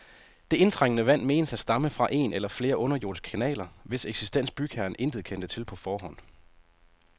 Det indtrængende vand menes at stamme fra en eller flere underjordiske kanaler, hvis eksistens bygherren intet kendte til på forhånd.